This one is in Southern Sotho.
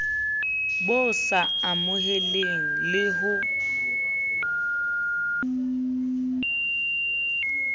bo sa amoheleheng le ho